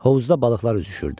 Hovuzda balıqlar üzüşürdü.